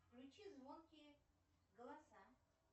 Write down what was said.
включи звонкие голоса